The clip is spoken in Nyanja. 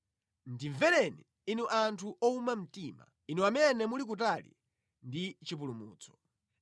Ndimvereni, inu anthu owuma mtima, inu amene muli kutali ndi chipulumutso.